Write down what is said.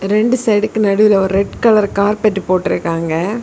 ரெண்டு சைடுக்கு நடுவுல ஒரு ரெட் கலர் கார்பெட் போட்டுருக்காங்க.